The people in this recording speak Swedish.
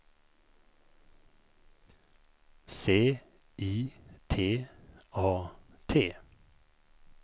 C I T A T